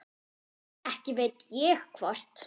Ekki veit ég hvort